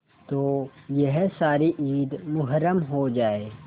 तो यह सारी ईद मुहर्रम हो जाए